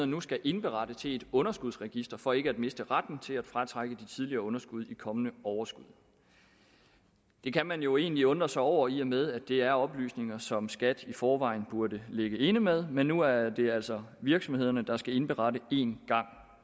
nu skal indberette til et underskudsregister for ikke at miste retten til at fratrække de tidligere underskud i kommende overskud det kan man jo egentlig undre sig over i og med at det er oplysninger som skat i forvejen burde ligge inde med men nu er det altså virksomhederne der skal indberette en gang